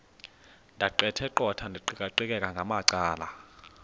ndaqetheqotha ndiqikaqikeka ngamacala